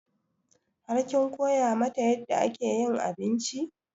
Har kin koya mata yadda ake yin abinci?